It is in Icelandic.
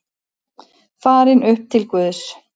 Farin upp til Guðs.